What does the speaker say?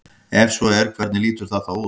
Ef svo er hvernig lítur það þá út?